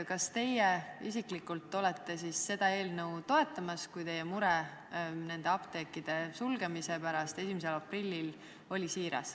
Kui teie mure apteekide sulgemise pärast 1. aprillil on siiras, siis kas te isiklikult toetate seda eelnõu?